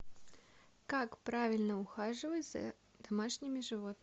как правильно ухаживать за домашними животными